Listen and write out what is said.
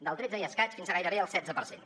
del tretze i escaig fins a gairebé el setze per cent